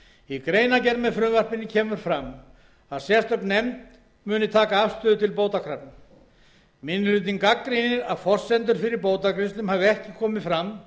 í greinargerð með frumvarpinu kemur fram að sérstök nefnd muni taka afstöðu til bótakrafna minni hlutinn gagnrýnir að forsendur fyrir bótagreiðslum hafi ekki komið fram